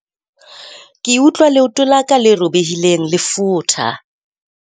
Ke utlwa leoto la ka le robehileng le futha.